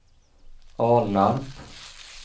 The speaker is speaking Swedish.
Alnarp